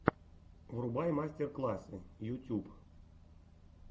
врубай мастер классы ютюб